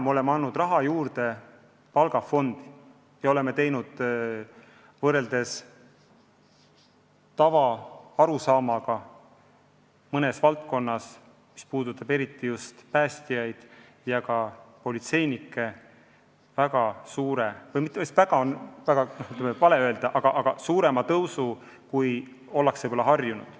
Me oleme andnud raha juurde palgafondi ja oleme valdkonnas, mis puudutab eriti just päästjaid ja politseinikke, teinud suurema tõusu, kui ollakse võib-olla harjunud.